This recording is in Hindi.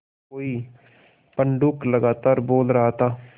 कोई पंडूक लगातार बोल रहा था